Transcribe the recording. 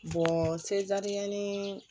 ni